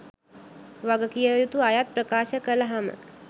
වගකිවයුතු අයත් ප්‍රකාශ කලහම